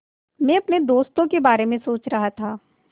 मैं अपने दोस्तों के बारे में सोच रहा था